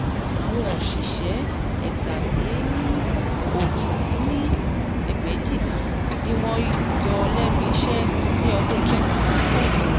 àwọn òṣìṣẹ́ ẹ̀ta-lé-ní-ojì dín ní ẹgbẹ́éjìlá ni wọ́n yọ lẹ́nu iṣẹ́ ní ọdún twenty thirteen